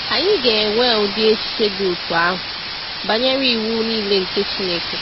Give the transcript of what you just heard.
Anyị ga-enwe ụdị echiche dị otú ahụ banyere iwu niile nke Chineke.